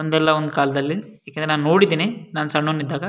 ಒಂದಲ್ಲ ಒಂದು ಕಾಲದಲ್ಲಿ ಯಾಕಂದ್ರೆ ನಾನು ನೋಡಿದೀನಿ ನಾನು ಸಣ್ಣವನು ಇದ್ದಾಗ.